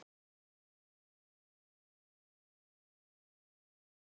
Sindri Sindrason: En þú ert bjartsýn er það ekki?